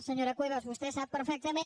senyora cuevas vostè sap perfectament